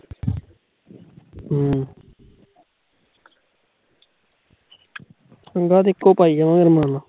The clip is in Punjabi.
ਬਸ, ਇੱਕੋ ਪਾਈ